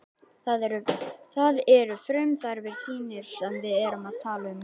Það eru frumþarfir þínar sem við erum að tala um.